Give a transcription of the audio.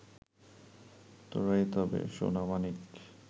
তোরাই তবে সোনামানিক